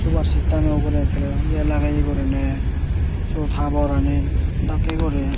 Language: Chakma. subarsittano ugurey ekkere ye lagete guriney siyot haborani dakke guri.